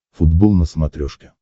футбол на смотрешке